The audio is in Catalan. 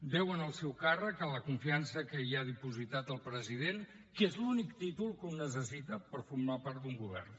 deuen el seu càrrec a la confiança que hi ha dipositat el president que és l’únic títol que un necessita per formar part d’un govern